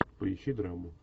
поищи драму